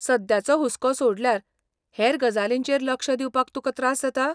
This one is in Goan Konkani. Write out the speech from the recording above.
सद्याचो हुस्को सोडल्यार हेर गजालींचेर लक्ष दिवपाक तुका त्रास जाता?